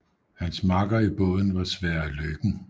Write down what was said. Hans makker i båden var Sverre Løken